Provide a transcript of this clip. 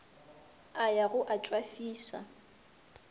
a ya go a tšwafiša